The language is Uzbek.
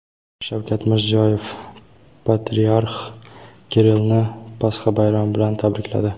Shavkat Mirziyoyev Patriarx Kirillni Pasxa bayrami bilan tabrikladi.